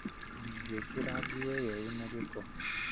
Ndingĩ ĩkĩra nguo ĩyo ĩna gĩko